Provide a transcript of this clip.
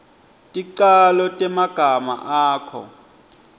ticalo temagama akho